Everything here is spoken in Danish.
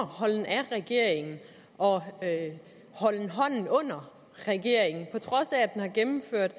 holden af regeringen og holden hånden under regeringen på trods af at den har gennemført